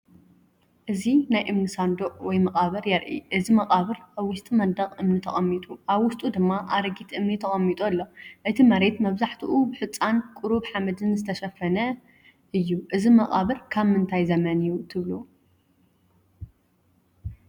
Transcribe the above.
እዚ ናይ እምኒ ሳንዱቕ ወይ መቓብር የርኢ። እዚ መቓብር ኣብ ውሽጢ መንደቕ እምኒ ተቐሚጡ፡ ኣብ ውሽጡ ድማ ኣረጊት እምኒ ተቐሚጡ ኣሎ። እቲ መሬት መብዛሕትኡ ብሑጻን ቁሩብ ሓመድን ዝተሸፈነ እዩ። እዚ መቓብር ካብ ምንታይ ዘመን እዩ ትብሉ?